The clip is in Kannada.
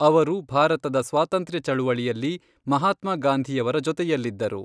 ಅವರು ಭಾರತದ ಸ್ವಾತಂತ್ರ್ಯ ಚಳವಳಿಯಲ್ಲಿ ಮಹಾತ್ಮ ಗಾಂಧಿಯವರ ಜೊತೆಯಲ್ಲಿದ್ದರು.